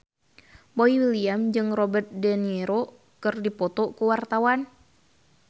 Boy William jeung Robert de Niro keur dipoto ku wartawan